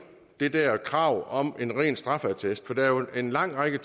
det det her krav om en ren straffeattest for der er jo en lang række